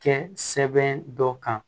Kɛ sɛbɛn dɔ kan